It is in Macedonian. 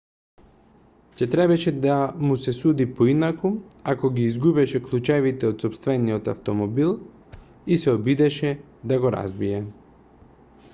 ќе требаше да му се суди поинаку ако ги изгубеше клучевите од сопствениот автомобилот и се обидеше да го разбие